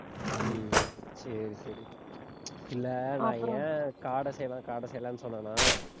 உம் சரி சரி இல்ல நான் ஏன் காடை செய்யலாம் காடை செய்யலாம்னு சொன்னேன்னா?